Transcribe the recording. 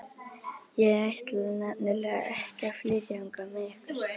Ég ætla nefnilega ekki að flytja þangað með ykkur.